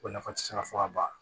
O nafa ti se ka fɔ ka ban